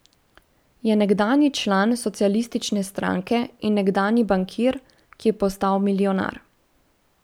Je nekdanji član socialistične stranke in nekdanji bankir, ki je postal milijonar.